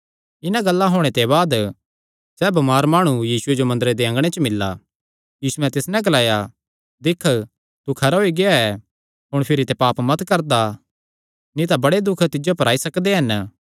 इन्हां गल्लां होणे दे बाद सैह़ बमार माणु यीशुये जो मंदरे दे अँगणे च मिल्ला यीशुयैं तिस नैं ग्लाया दिक्ख तू खरा होई गेआ ऐ हुण भिरी ते पाप मत करदा नीं तां बड़े दुख तिज्जो पर आई सकदे हन